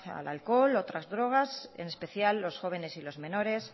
al alcohol y otras drogas en especial los jóvenes y los menores